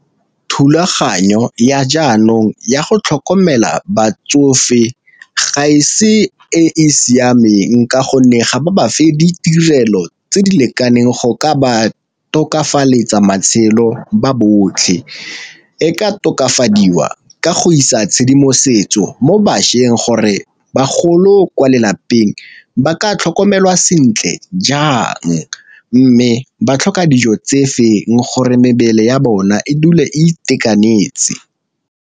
Thulaganyo ya jaanong ya go tlhokomela batsofe ga e se e e siameng ka gonne ga ba ba fe ditirelo tse di lekaneng go ka ba tokafaletsa matshelo ba botlhe. E ka tokafadiwa ka go isa tshedimosetso mo bašweng gore bagolo ko lelapeng ba ka tlhokomelwa sentle jang, mme ba tlhoka dijo tse feng gore mebele ya bona e dule e itekanetse.